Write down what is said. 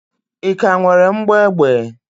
Ị ka nwere mgbọ egbe?